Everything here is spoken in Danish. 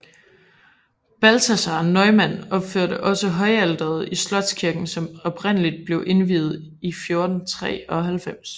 Balthasaar Neumann opførte også højalteret i slotskirken som oprindelig ble indviet i 1493